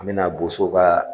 An bɛna bosow ka